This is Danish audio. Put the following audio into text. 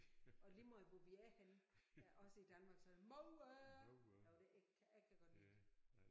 Og lige meget hvor vi er henne også i Danmark så er det mor jo det jeg jeg kan godt lide det